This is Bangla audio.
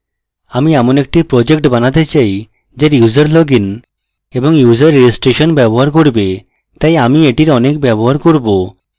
আমি এমন একটি project বানাতে পারি যা user লগইন এবং user registration ব্যবহার করবে তাই আমি এটির অনেক ব্যবহার করব